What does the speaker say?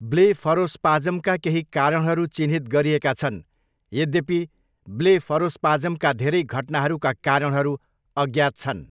ब्लेफरोस्पाज्मका केही कारणहरू चिह्नित गरिएका छन्, यद्यपि, ब्लेफरोस्पाज्मका धेरै घटनाहरूका कारणहरू अज्ञात छन्।